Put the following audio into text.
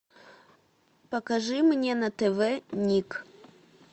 покажи мне на тв ник